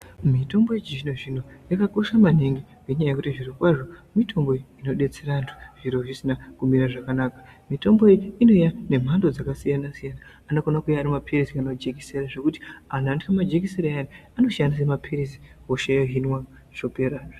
Mitombo yechizvino zvino yakakosha maningi nenyaya yekuti zviro kwazvo mitombo inobetsera vandu zviro zvisina kumire zvakanaka mitombo iyi inouya nemhando dzakasiyana siyana inokone kuuya ari mapiritsi kana majekisera zvekuti andu another majekisera ayayaya anoshandise mapiritsi hosha yohinwa zvopera.